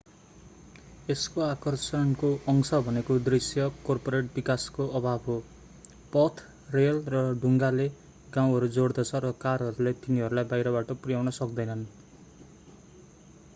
यसको आकर्षणको अंश भनेको दृश्य कर्पोरेट विकासको अभाव हो पथ रेल र डुङ्गाले गाउँहरू जोड्दछ र कारहरूले तिनीहरूलाई बाहिरबाट पुर्याउन सक्दैनन्